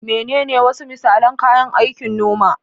Menene wasu misalan kayan aikin noma?